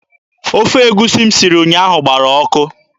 Ofe egusi m siri ụnyaahụ gbara ụka.